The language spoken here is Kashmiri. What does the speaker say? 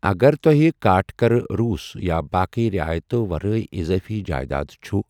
اگر توہہِ كاٹھكرٕ روس یا باقیہ رِعایتو٘ ورٲیہِ اِضٲفی جایداد چھٗ ۔